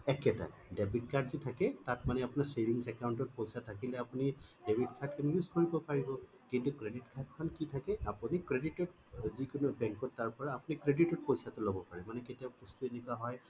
একেই তাৰ মানে debit card যে থাকে তাত মানে আপোনাৰ savings account ত পইছা থাকিলে আপুনি debit card খন use কৰিব পাৰিব কিন্তু credit card খন কি থাকে আপুনি credit ত যিকোনো bank ত তাৰ পৰা credit ত পইছা টো লব পাৰে মানে কেতিয়াবা বস্তু এনেকুৱা হয়